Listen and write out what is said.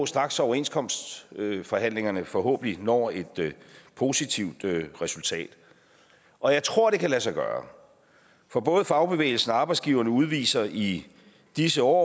straks overenskomstforhandlingerne forhåbentlig når et positivt resultat og jeg tror det kan lade sig gøre for både fagbevægelsen og arbejdsgiverne udviser i disse år